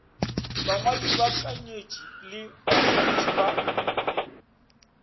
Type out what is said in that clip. bangwadi baakanyetši le baswantšhi ba